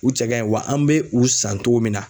U cɛ ka ɲi wa an mɛ u san cogo min na